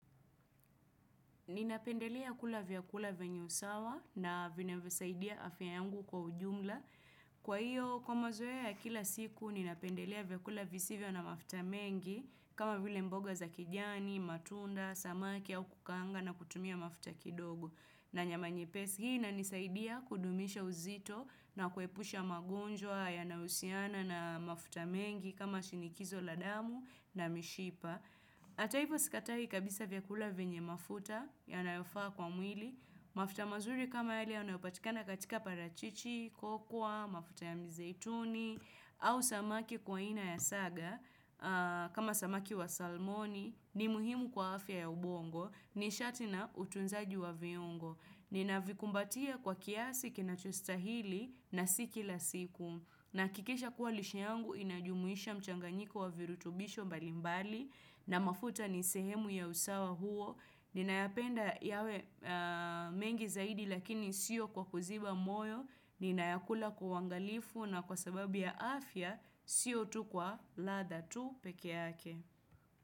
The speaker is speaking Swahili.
Ninapendelea kula vyakula venye usawa na vinavyosaidia afya yangu kwa ujumla. Kwa hiyo, kwa mazoea ya kila siku, ninapendelea vyakula visivyo na mafuta mengi kama vile mboga za kijani, matunda, samaki au kukaanga na kutumia mafuta kidogo. Na nyama nye pesi hii ina nisaidia kudumisha uzito na kuepusha magonjwa ya naousiana na mafuta mengi kama shinikizo ladamu na mishipa. Ataivo sikatai kabisa vyakula vyenye mafuta ya nayofaa kwa mwili. Mafuta mazuri kama yale yanayopatikana katika parachichi, kokwa, mafuta ya mizeituni au samaki kwa aina ya saga. Kama samaki wa salmoni ni muhimu kwa afya ya ubongo ni shati na utunzaji wa viungo ni navikumbatia kwa kiasi kina chostahili na siki la siku nahakikisha kuwa lisha yangu inajumuisha mchanganyiko wa virutubisho balimbali na mafuta ni sehemu ya usawa huo ni nayapenda yawe mengi zaidi lakini sio kwa kuziba moyo ni nayakula kwa uangalifu na kwa sababu ya afya si otu kwa la dha tu pekeyake.